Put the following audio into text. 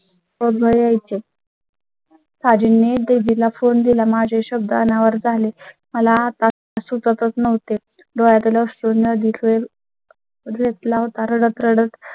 प्रवाह यायचे दाजींनी ने दीदीला फोन दिला. माझ्या शब्दा अनावर झाले मला आता सुचतच नव्हते. डोळ्यां तला पासून नदी कर. रतलाम